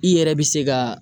I yɛrɛ bɛ se ka